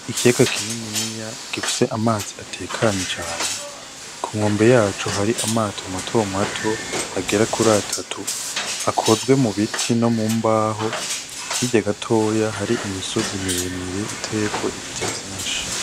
Ikiyaga kininiya gifise amazi atekanye cane, ku nkombe yaco hari amato matomato agera kura atatu, akozwe mu biti no mu mbaho. Hirya gatoya hari imisozi miremire iteyeko ibiti vyinshi.